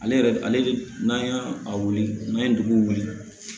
Ale yɛrɛ ale n'a a wuli n'an ye dugu wuli